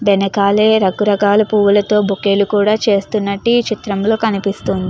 వెనకాలే రకరకాల పువ్వులతో బొకేలు కూడా చేస్తున్నట్టు ఈ చిత్రంలో కనిపిస్తుంది.